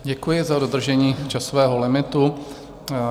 Děkuji za dodržení časového limitu.